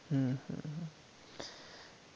হম